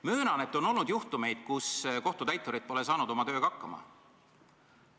Möönan, et on olnud juhtumeid, kui kohtutäiturid pole oma tööga hakkama saanud.